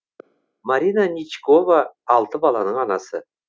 марина ничкова алты баланың анасы